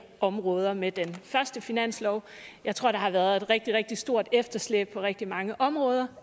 områder med den første finanslov jeg tror der har været et rigtig rigtig stort efterslæb på rigtig mange områder